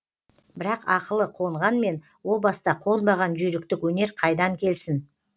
бірақ ақылы қонғанмен о баста қонбаған жүйріктік өнер қайдан келсін